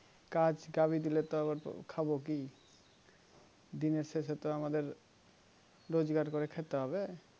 কাজ কমিয়ে দিলো তো আবার খাবো কি দিনের শেষে তো আমাদের রোজকার করে খেতে হবে